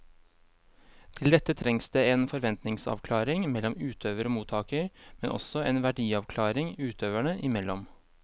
Til dette trengs det en forventningsavklaring mellom utøver og mottaker, men også en verdiavklaring utøverne imellom.